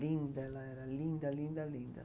Linda ela era, linda, linda, linda.